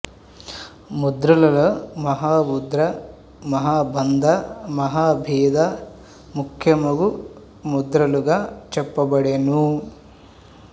ముద్రలలో మహాముద్ర మహాబంధ మహాభేధ ముఖ్య మగు ముద్రలుగ చెప్ప బడెను